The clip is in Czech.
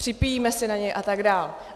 Připíjíme si na něj a tak dál.